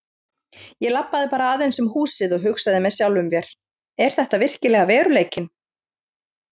Ég labbaði bara aðeins um húsið og hugsaði með sjálfum mér: Er þetta virkilega veruleikinn?